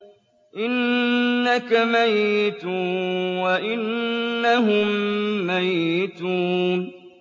إِنَّكَ مَيِّتٌ وَإِنَّهُم مَّيِّتُونَ